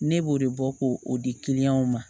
Ne b'o de bɔ ko o di ma